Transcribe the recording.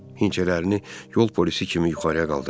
Hinçələrini yol polisi kimi yuxarıya qaldırdı.